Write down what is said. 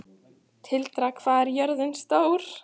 Tildra, hvað er jörðin stór?